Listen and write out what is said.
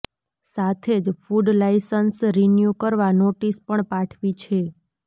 સાથે જ food licence renew કરવા નોટિસ પણ પાઠવી છે